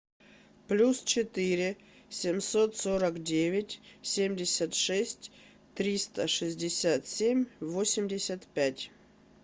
плюс четыре семьсот сорок девять семьдесят шесть триста шестьдесят семь восемьдесят пять